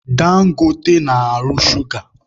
Dangote na-arụ shuga.